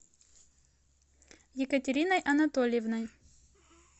екатериной анатольевной